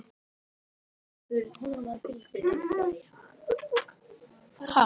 Einn þeirra var